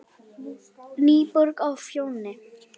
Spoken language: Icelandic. Já, já, hvernig læt ég!